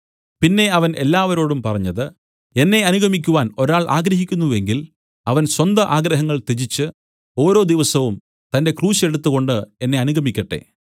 പിന്നെ അവൻ എല്ലാവരോടും പറഞ്ഞത് എന്നെ അനുഗമിക്കുവാൻ ഒരാൾ ആഗ്രഹിക്കുന്നു എങ്കിൽ അവൻ സ്വന്ത ആഗ്രഹങ്ങൾ ത്യജിച്ച് ഓരോ ദിവസവും തന്റെ ക്രൂശ് എടുത്തുംകൊണ്ട് എന്നെ അനുഗമിക്കട്ടെ